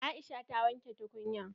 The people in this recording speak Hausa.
Aisha ta wanke tukunyan.